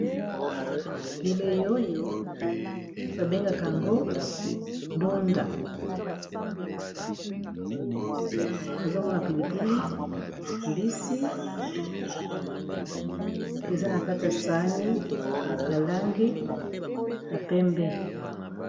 Bilei oyo ba bengaka yango dunda nazomona pilipili mbisi eza na kati ya sahani ya langi ya pembe.